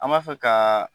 An b'a fɛ ka